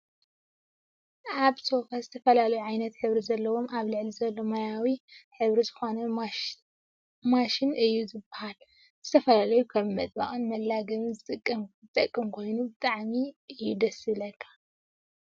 ኣበ ሶፋ ዝተፈላለየ ዓይነት ሕብሪ ዘለዎ ኣብ ልዕሊኡ ዘሎ ማያዊ ሕብሪ ዝኮነ ማሽትሽ እዩ ዝብሃል። ንዝተፈላለየ ከም መጣበቅን መለገብን ዝጠቅም ኮይኑ ብጣዐሚ እዩየ ደሰ ዝብለካ።